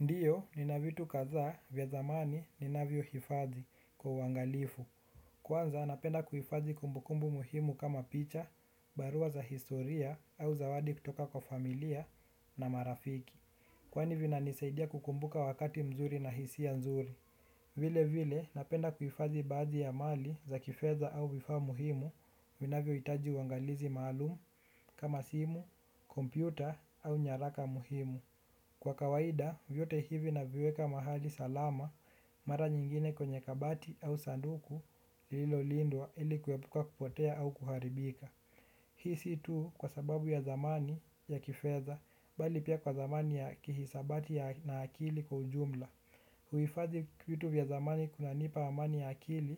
Ndio, nina vitu kadhaa vya thamani ninavyohifadhi kwa uangalifu, kwanza napenda kuhifadhi kumbukumbu muhimu kama picha, barua za historia au zawadi kutoka kwa familia na marafiki. Kwani vinanisaidia kukumbuka wakati mzuri na hisia nzuri. Vilevile, napenda kuhifadhi baadhi ya mali za kifedha au vifaa muhimu, vinavyohitaji uangalizi maalumu kama simu, kompyuta au nyaraka muhimu. Kwa kawaida, vyote hivi naviweka mahali salama, mara nyingine kwenye kabati au sanduku, lilolindwa ili kuepuka kupotea au kuharibika. Hii si tu kwa sababu ya thamani ya kifedha, bali pia kwa thamani ya kihisabati na akili kwa ujumla. Kuhifadhi vitu vya thamani kunanipa amani ya akili